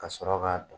Ka sɔrɔ k'a don